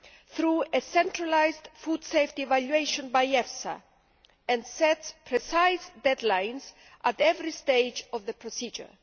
through a centralised food safety evaluation by EFSA and sets precise deadlines at every stage of the procedure.